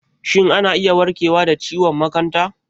Shin ana iya warkewa da ciwon makanta?